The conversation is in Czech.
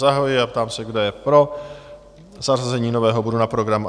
Zahajuji a ptám se, kdo je pro zařazení nového bodu na program?